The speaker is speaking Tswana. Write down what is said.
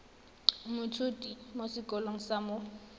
moithuti mo sekolong sa mo